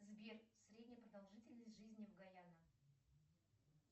сбер средняя продолжительность жизни в гаяно